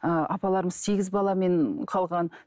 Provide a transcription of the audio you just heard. ыыы апаларымыз сегіз баламен қалған